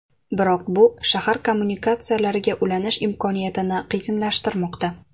Biroq bu shahar kommunikatsiyalariga ulanish imkoniyatini qiyinlashtirmoqda.